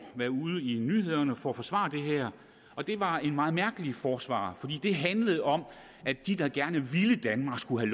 være ude i nyhederne for at forsvare det her og det var et meget mærkeligt forsvar fordi det handlede om at de der gerne ville danmark skulle